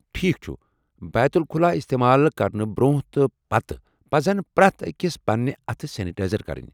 ٹھیٖکھ چھُ ! بیت الخلا استعمال کرنہٕ برونٛہہ تہٕ پتہٕ پزن پرٮ۪تھ أکِس پننہِ اتھہٕ سینیٹایِزر کرٕنۍ۔